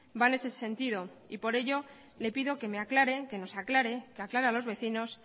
va en ese sentido y por ello le pido que me aclare que nos aclare que aclare a los vecinos